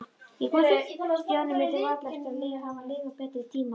Stjáni mundi varla eftir að hafa lifað betri tíma.